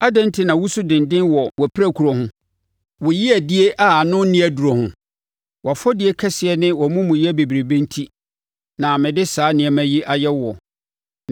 Adɛn enti na wosu denden wɔ wʼapirakuro ho, wo yeadie a ano nni aduro ho? Wʼafɔdie kɛseɛ ne wʼamumuyɛ bebrebe enti na mede saa nneɛma yi ayɛ woɔ.